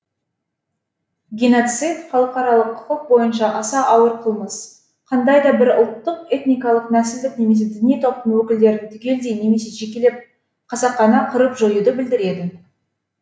геноцид халықаралық құқық бойынша аса ауыр қылмыс қандай да бір ұлттық этникалық нәсілдік немесе діни топтың өкілдерін түгелдей немесе жекелеп қасақана қырып жоюды білдіреді